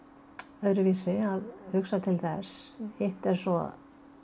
öðruvísi að hugsa til þess hitt er svo